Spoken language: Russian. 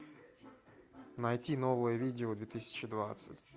найти новое видео две тысячи двадцать